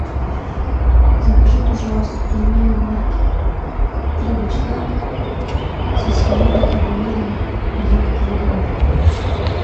закажи пожалуйста пельмени марки три бычка со свининой и говядиной один килограмм